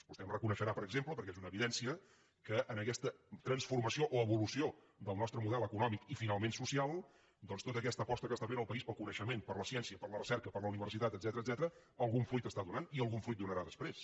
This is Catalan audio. vostè em reconeixerà per exemple perquè és una evidència que en aquesta transformació o evolució del nostre model econòmic i finalment social doncs tota aquesta aposta que està fent el país pel coneixement per la ciència per la recerca per la universitat etcètera algun fruit està donant i algun fruit donarà després